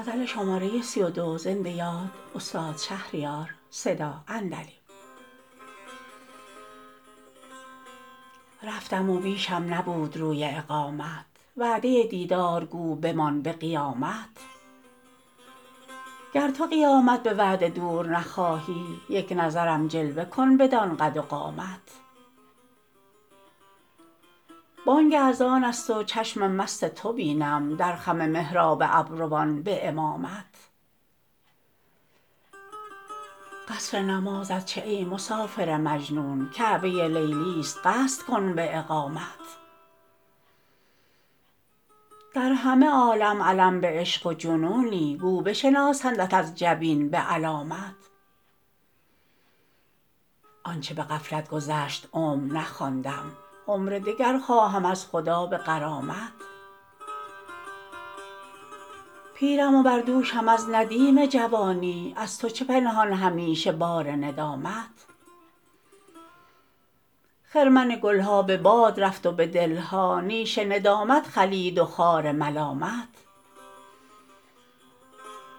رفتم و بیشم نبود روی اقامت وعده دیدار گو بمان به قیامت گر تو قیامت به وعده دور نخواهی یک نظرم جلوه کن بدان قد و قامت بانگ اذان است و چشم مست تو بینم در خم محراب ابروان به امامت قصر نمازت چه ای مسافر مجنون کعبه لیلی است قصد کن به اقامت در همه عالم علم به عشق و جنونی گو بشناسندت از جبین به علامت آنچه به غفلت گذشت عمر نخواندم عمر دگر خواهم از خدا به غرامت پیرم و بر دوشم از ندیم جوانی از تو چه پنهان همیشه بار ندامت خرمن گل ها به باد رفت و به دل ها نیش ندامت خلید و خار ملامت نیش ندامت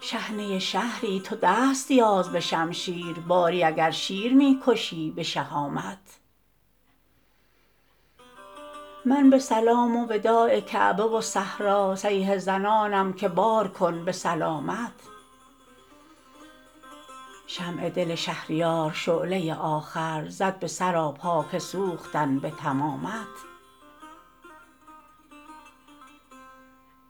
چنان گزنده که گویی پشه هجومت کند به شاخ حجامت هرچه زنندم به طعنه زخم که بازآ پوست به تن می فزایدم به ضخامت چون کنم ای عاقلان که این مرض عشق رو نهد از هر سخاوتی به وخامت لیکن از این ناله هم دریغ ندارم تا نکشد کار عاشقان به لیامت شحنه شهری تو دست یاز به شمشیر باری اگر شیر می کشی به شهامت قصر شهان کی رسد به کلبه درویش تخت تبختر کجا و تاج کرامت من به سلام و وداع کعبه و صحرا صیحه زنانم که بارکن به سلامت شمع دل شهریار شعله آخر زد به سراپا که سوختن به تمامت